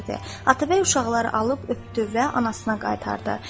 Atabəy uşaqları alıb öpdü və anasına qaytardı.